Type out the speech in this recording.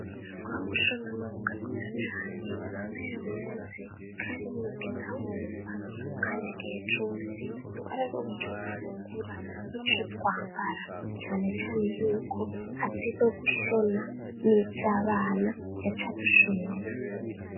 Umwuga wo kushona n'umwuga mwiza cane mama yarawukoze kandi ntiyigeze ahomba, kandi igihe cose twararonka ico dufungura nico twambara, cane cane yuko azi nogushona nizabana yacadushonera.